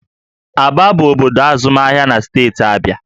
Aba bụ obodo azụmahịa na steeti Abịa